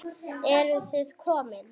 Eruð þið komin!